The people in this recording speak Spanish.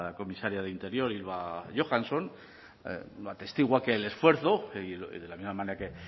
comisaria de interior ylva johansson lo atestigua el esfuerzo de la misma manera